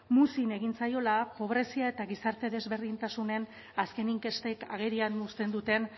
muzin egin zaiola pobrezia eta gizarte desberdintasunen azken inkestek agerian uzten duten